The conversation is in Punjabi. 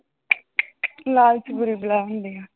ਲਾਲਚ ਬੁਰੀ ਬਲਾ ਹੁੰਦੀ ਹੈ।